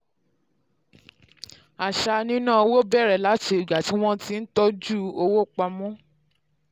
àṣà nínáowó bẹ̀rẹ̀ láti ìgbà tí wọ́n ti n tọ́jú owó pamọ́.